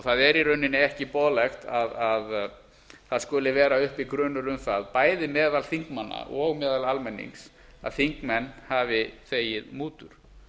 það er í rauninni ekki boðlegt að það skuli vera uppi grunur um það bæði meðal þingmanna og meðal almennings að þingmenn hafi þegið mútur